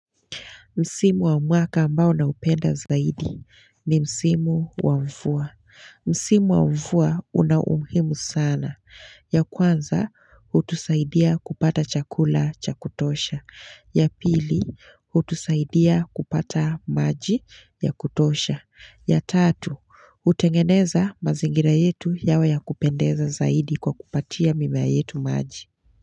Msimu wa mwaka ambao na upenda zaidi ni Msimu wa mfua. Msimu wa mfua una umuhimu sana. Ya kwanza, hutusaidia kupata chakula cha kutosha. Ya pili, hutusaidia kupata maji ya kutosha. Ya tatu, hutengeneza mazingira yetu yawe ya kupendeza zaidi kwa kupatia mimea yetu maji.